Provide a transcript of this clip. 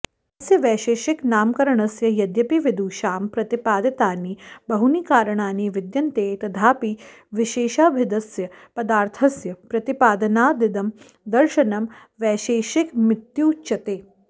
अस्य वैशेषिकनामकरणस्य यद्यपि विदुषां प्रतिपादितानि बहूनि कारणानि विद्यन्ते तथापि विशेषाभिधस्य पदार्थस्य प्रतिपादनादिदं दर्शनं वैशेषिकमित्युच्यते